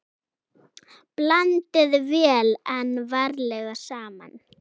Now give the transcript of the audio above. Blandið vel en varlega saman.